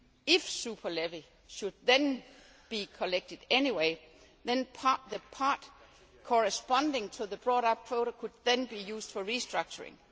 not. If the super levy should then be collected anyway, then the part corresponding to the bought up quota could then be used for restructuring.